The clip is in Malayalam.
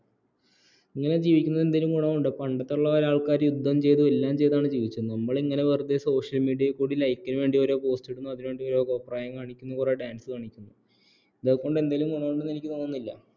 ഇങ്ങനെ ജീവിക്കുന്നോട്ടെ എന്തേലും ഗുണമുണ്ടോ പണ്ടത്തുള്ള കാരെ യുദ്ധം ചെയ്തു എല്ലാം ചെയ്താണ് ജീവിച്ചത് നമ്മൾ ഇങ്ങനെ വെറുതെ social media കൂടി like ന് വേണ്ടി ഓരോ post ഇടുന്നുഅതിനുവേണ്ടി കുറെ കോപ്രായം കാണിക്കുന്നു dance കാണിക്കുന്നു ഇതൊക്കെ കൊണ്ട് എന്തെങ്കിലും ഗുണമുണ്ടോ എന്ന് എനിക്ക് തോന്നുന്നില്ല